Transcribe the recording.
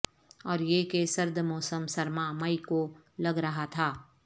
اور یہ کہ سرد موسم سرما مئی کو لگ رہا تھا